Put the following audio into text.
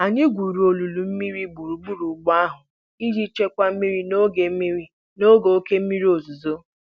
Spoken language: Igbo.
Anyị gwuru olulu mmiri gburugburu ugbo ahụ iji chịkwaa mmiri n'oge mmiri n'oge oke mmiri ozuzo.